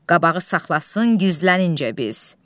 Qabağı saxlasın gizlənincə biz.